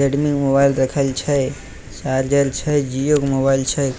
Redmi के mobile रखल छै साजल छै जियो के मोबाइल छै।